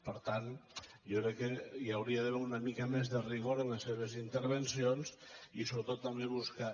per tant jo crec que hi hauria d’haver una mica més de rigor en les seves intervencions i sobretot també buscar